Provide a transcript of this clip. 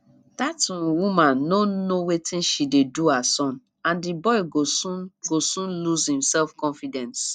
dat um woman no know wetin she dey do her son and the boy go soon go soon lose im self confidence